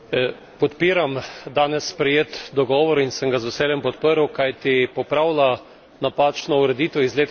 Podpiram danes sprejet dogovor in sem ga z veseljem podprl, kajti popravlja napačno ureditev iz leta